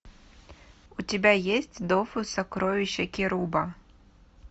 у тебя есть дофус сокровища керуба